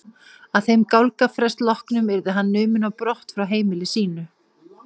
Að þeim gálgafrest loknum yrði hann numinn á brott frá heimili sínu.